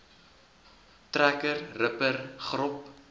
trekker ripper grop